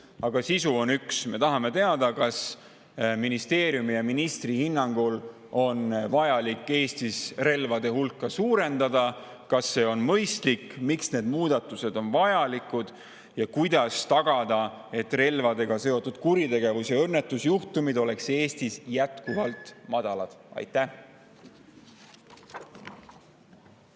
Nende sisu on üks: me tahame teada, kas ministeeriumi ja ministri hinnangul on Eestis vaja relvade hulka suurendada, kas see on mõistlik, miks need muudatused on vajalikud ja kuidas tagada, et relvadega seotud kuritegevust ja õnnetusjuhtumeid oleks Eestis jätkuvalt.